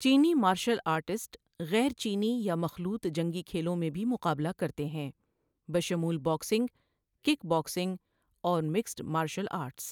چینی martial artist غیر چینی یا مخلوط جنگی کھیلوں میں بھی مقابلہ کرتے ہیں، بشمول باکسنگ، کک باکسنگ، اور مکسڈ مارشل آرٹس۔